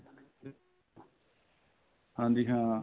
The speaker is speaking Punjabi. ਹਾਂਜੀ ਹਾਂ